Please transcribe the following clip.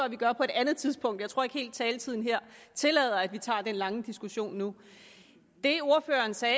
at vi gør på et andet tidspunkt jeg tror ikke helt at taletiden her tillader at vi tager den lange diskussion nu det ordføreren sagde